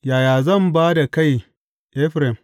Yaya zan ba da kai, Efraim?